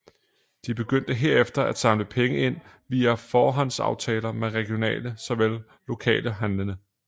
De begyndte herefter at samle penge ind via forhåndsaftaler med regionale såvel lokale handlende